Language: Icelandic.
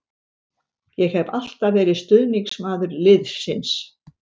Ég hef alltaf verið stuðningsmaður liðsins.